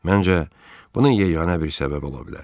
Məncə, bunun yeganə bir səbəbi ola bilər.